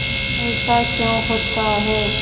ऐसा क्यों होता है